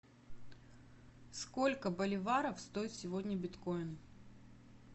сколько боливаров стоит сегодня биткоин